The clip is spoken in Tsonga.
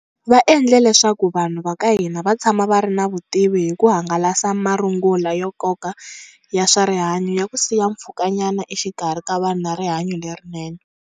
Va endle leswaku vanhu va ka hina va tshama va ri na vutivi hi ku hangalasa marungula ya nkoka ya swa rihanyu ya ku siya mpfhukanyana exikarhi ka vanhu na rihanyu lerinene.